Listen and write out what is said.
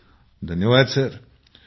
मंजूर जी धन्यवाद सर ।